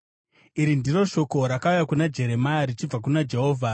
Iri ndiro shoko rakauya kuna Jeremia richibva kuna Jehovha: